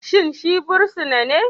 Shin shi fursuna ne?